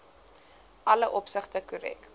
alle opsigte korrek